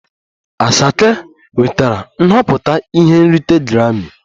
Asake nwetara nhọpụta ihe nrite grammi